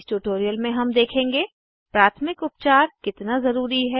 इस ट्यूटोरियल में हम देखेंगे प्राथमिक उपचार कितना ज़रूरी है